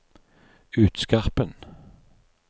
Utskarpen